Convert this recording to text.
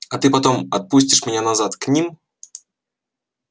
а ты потом отпустишь меня назад к ним